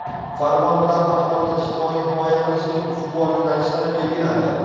Farmon bilan aholini ijtimoiy himoya qilishning ustuvor yo‘nalishlari belgilandi.